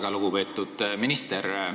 Väga lugupeetud minister!